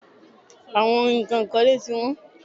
Àwọn nǹkan ìkọ́lé tí wọ́n.